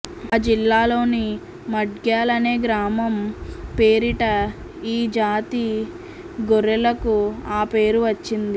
ఆ జిల్లాలోని మడ్గ్యాల్ అనే గ్రామం పేరిట ఈ జాతి గొర్రెలకు ఆ పేరు వచ్చింది